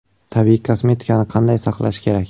Tabiiy kosmetikani qanday saqlash kerak?